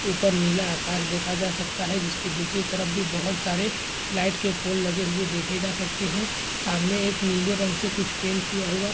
ऊपर नीला आकाश देखा जा सकता है जिसकी दूसरी तरफ भी बहुत सारे लाइट के पोल लगे हुए देखे जा सकते हैं। सामने एक नीले रंग से कुछ पेंट किया हुआ --